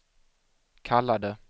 kallade